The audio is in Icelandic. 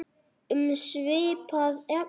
Um svipað efni